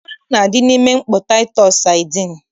Mmanụ na-adị n'ime mkpọ taịtọs sadin